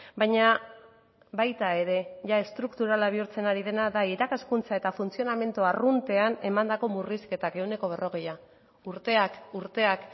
baina baita ere jada estrukturala bihurtzen ari dena da irakaskuntza eta funtzionamendu arruntean emandako murrizketak ehuneko berrogeia urteak urteak